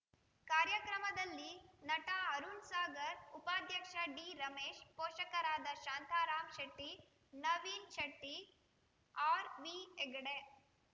ಕಾರ್ಯಕ್ರಮದಲ್ಲಿ ನಟ ಅರುಣ್‌ ಸಾಗರ್‌ ಉಪಾಧ್ಯಕ್ಷ ಡಿರಮೇಶ್‌ ಪೋಷಕರಾದ ಶಾಂತಾರಾಂ ಶೆಟ್ಟಿ ನವೀನ್‌ ಶೆಟ್ಟಿ ಆರ್‌ವಿಹೆಗಡೆ